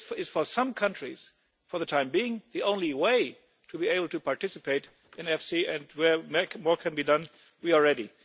For some countries this is, for the time being, the only way to be able to participate in EFSI, and where more can be done, we are ready.